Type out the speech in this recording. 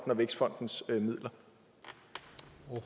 og vækstfondens midler